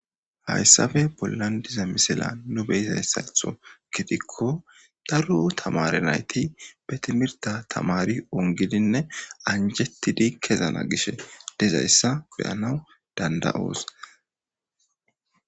hayssafe pollandiza misila nu beyizayssaytho gidikko darro tamare nayti be timirta tamari ongilinne anjettidi kezana gishe dezayssa beyanaw danda7oos